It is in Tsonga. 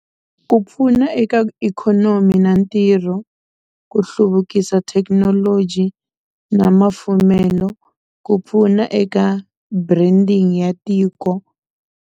Ku pfuna eka ikhonomi na ntirho ku hluvukisa thekinoloji na mafumelo ku pfuna eka branding ya tiko.